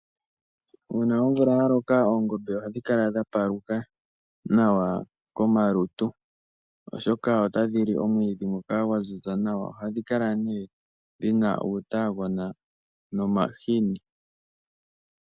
Una omvula ya loka oongombe ohadhi kala dha paluka nawa komalutu, oshoka otadhi li omwiidhi ngoka gwa ziza nawa. Oha dhi kala nee dhina uutagona nomahini.